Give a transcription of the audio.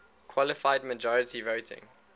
qualified majority voting